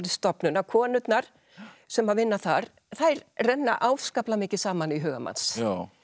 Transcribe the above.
stofnun að konurnar sem vinna þar þær renna afskaplega mikið saman í huga manns